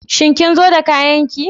Shin kin zo da kayan ki?